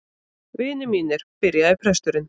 Vinir mínir, byrjaði presturinn.